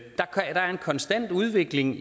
konstant udvikling